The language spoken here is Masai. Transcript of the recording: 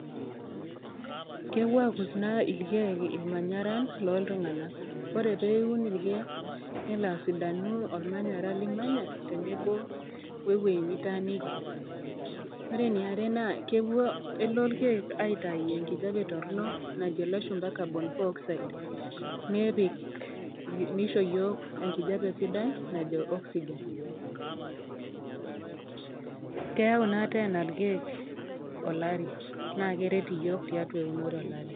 Kepuo aakus naa ilkeek ilmanyaran loo iltung'ana, oree pee iun ilkeek nelo asidanu olmanyara limanya tenebo wuo ewueji nitaaniki. Ore eniare naa kepuo ilkeek aitayu enkijape torno najo ilashumba carbon four oxide, nepik ashu eisho iyiok enkijape sidai najo oxygen. Keyau naa teena ilkeek olari, naa keret iyiok olari tiatua eunore